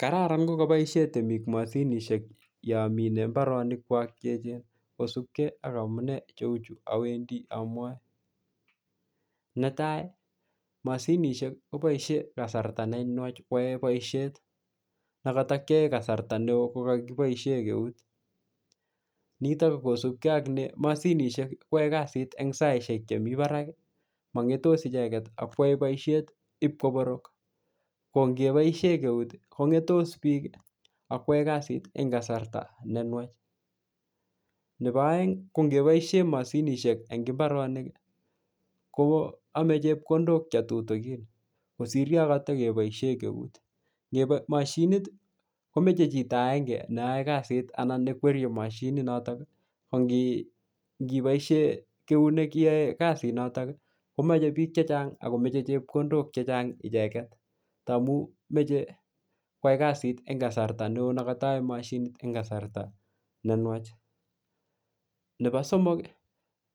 Kararan kokoboishen temik moshinishek yonmine mbarenikwak cheechen kosupkee ak amune cheuchu awendi amwae netai moshinishek koboishen kasarta nenwach koyoe boishet nekoto kiyoe kasarta nekoi kokokiboishn eut nitok kosupkee ak ne moshinishek koyoe kasit en saaishek Chemi baraki mongetos icheket ak yoe boishet ip koborok ko ngeboishen euti ko ngetos biik akwae kasit en kasarta nenwach nebo oengi kongeboishen moshinishek en mbaronik kowo koome chepkondok chetutukin kosir Yoon kototokeboishen eunet moshinit komoche chito agenge neyoe kasit anan nekwerie moshinit notok kongeboishen euneki yeiyoe kasitnotok komoche beek chechang akomoche chepkondok chechang icheket tamun moche koyai kasit en kasarta neoo nekotoyor moshinit en kasarta nenwach nepo somok